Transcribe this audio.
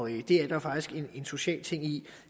det er der faktisk en social ting i